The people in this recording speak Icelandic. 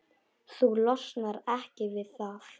Þú losnar ekki við það.